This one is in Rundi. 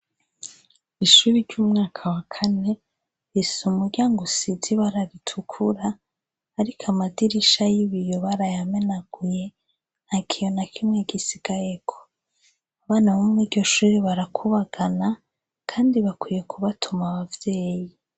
Ishure ry'umwaka wa kane rifise umuryango usize ibara ritukura ariko amadirisha y'ibiyo barayamenaguye nta kiyo na kimwe gisigayeko, abana bo muriryo shure barakubagana kandi bakwiye kubatuma abavyeyi